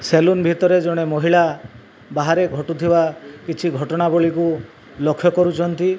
Salon ଭିତରେ ଜଣେ ମହିଳା ବାହାରେ ଘଟୁଥିବା କିଛି ଘଟଣା ବଳୀକୁ ଲକ୍ଷ୍ୟ କରୁଚନ୍ତି।